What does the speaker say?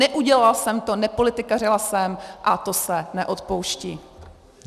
Neudělala jsem to, nepolitikařila jsem a to se neodpouští.